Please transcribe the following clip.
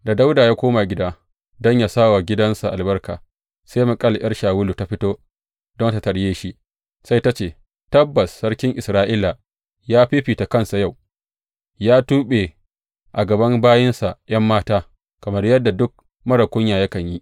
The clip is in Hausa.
Da Dawuda ya koma gida don yă sa wa gidansa albarka, sai Mikal ’yar Shawulu ta fito don tă tarye shi, sai ta ce, Tabbas sarkin Isra’ila ya fiffita kansa yau, ya tuɓe a gaban bayinsa ’yan mata, kamar yadda duk marar kunya yakan yi!